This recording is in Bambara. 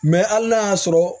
Mɛ hali n'a y'a sɔrɔ